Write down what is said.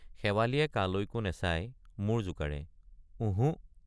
শেৱালিয়ে কালৈকো নেচাই মূৰ জোকাৰে ওঁহো।